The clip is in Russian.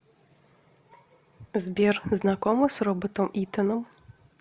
сбер знакома с роботом итаном